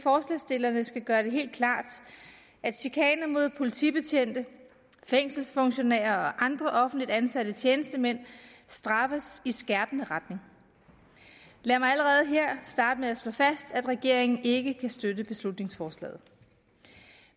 forslagsstillerne skal gøre det helt klart at chikane mod politibetjente fængselsfunktionærer og andre offentligt ansatte tjenestemænd straffes i skærpende retning lad mig allerede her starte med at slå fast at regeringen ikke kan støtte beslutningsforslaget